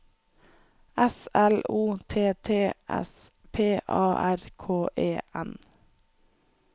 S L O T T S P A R K E N